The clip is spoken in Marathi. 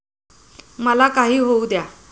मला काही होऊ द्या.